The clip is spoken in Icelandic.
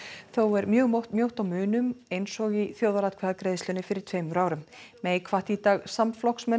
þó er mjög mjótt mjótt á munum eins og í þjóðaratkvæðagreiðslunni fyrir tveimur árum hvatti í dag samflokksmenn